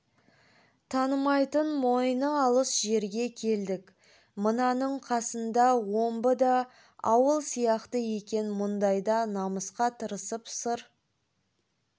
танымайтын мойны алыс жерге келдік мынаның қасында омбы да ауыл сияқты екен мұндайда намысқа тырысып сыр